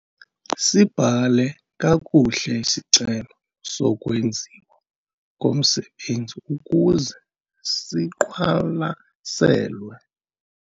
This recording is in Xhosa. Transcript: Sibhale kakuhle isicelo sokwenziwa komsebenzi ukuze siqwalaselwe.